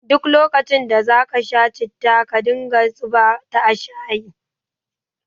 Duk lokacin da za ka sha citta ka dinga zuba ta shayi